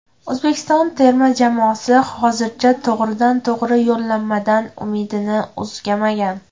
O‘zbekiston terma jamoasi hozircha to‘g‘ridan-to‘g‘ri yo‘llanmadan umidini uzmagan.